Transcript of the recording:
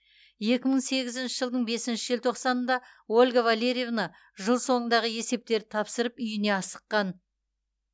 екі мың сегізінші жылдың бесінші желтоқсанында ольга валерьевна жыл соңындағы есептерді тапсырып үйіне асыққан